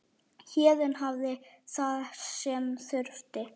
Héðinn hafði það sem þurfti.